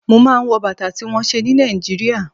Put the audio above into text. Mo máa ń wọ̀ Bàtà tí wón ṣe ní Nàìjíríà.